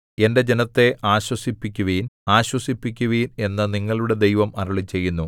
എന്റെ ജനത്തെ ആശ്വസിപ്പിക്കുവിൻ ആശ്വസിപ്പിക്കുവിൻ എന്നു നിങ്ങളുടെ ദൈവം അരുളിച്ചെയ്യുന്നു